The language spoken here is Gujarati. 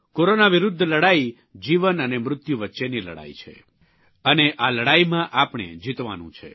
કોરોના વિરૂદ્ધ લડાઇ જીવન અને મૃત્યુ વચ્ચેની લડાઇ છે અને આ લડાઇમાં આપણે જીતવાનું છે